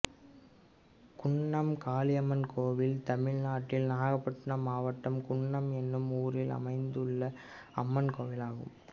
குன்னம் காளியம்மன் கோயில் தமிழ்நாட்டில் நாகபட்டினம் மாவட்டம் குன்னம் என்னும் ஊரில் அமைந்துள்ள அம்மன் கோயிலாகும்